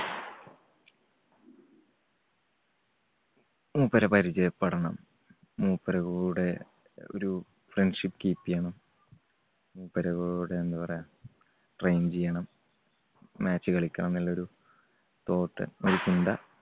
മൂപ്പരെ പരിചയപ്പെടണം മൂപ്പരെ കൂടെ ഒരു friendship keep ചെയ്യണം. മൂപ്പരെ കൂടെ എന്താ പറയാ train ചെയ്യണം, match കളിക്കണന്നുള്ളൊരു thought ഒരു ചിന്ത